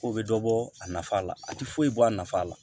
Ko bɛ dɔ bɔ a nafa la a tɛ foyi bɔ a nafa la